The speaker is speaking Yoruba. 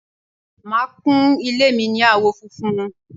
màá kún ilé mi ní àwọ̀ funfun